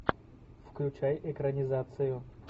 включай экранизацию